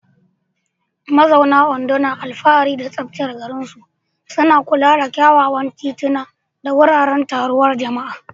Mazauna Ondo na alfahari da tsaftar garinsu, suna kula da kyawawan tituna da wuraren taruwar jama'a.